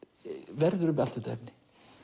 verður um allt þetta efni